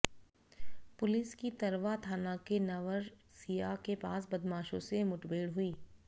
police की तरवा थाना के नवरसिया के पास बदमाशों से मुठभेड़ हुई